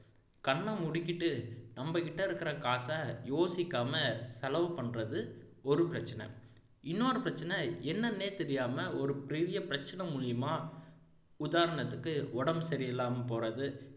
கண்ணை மூடிகிட்டு நம்மகிட்ட இருக்கிற காசை யோசிக்காம செலவு பண்றது ஒரு பிரச்சனை இன்னொரு பிரச்சனை என்னன்னே தெரியாம ஒரு பெரிய பிரச்சனை மூலமா உதாரணத்துக்கு உடம்பு சரியில்லாம போறது